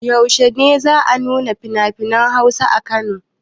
Yaushe ne za a nuna finafinan Hausa a Kano?